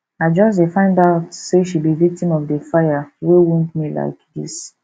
i just find out say she be victim of the fire wey wound me like dis